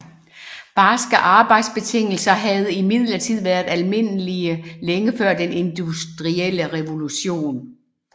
Barske arbejdsbetingelser havde imidlertid været almindelige længe før den industrielle revolution